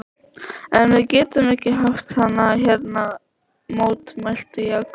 En við getum ekki haft hann hérna mótmælti Jakob.